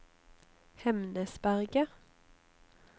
Hemnesberget